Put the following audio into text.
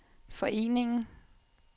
foreningen